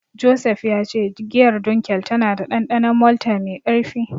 Joseph ya ce giyar Dunkel tana da dandanon malta mai karfi.